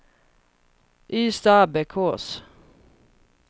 Ystadabbekås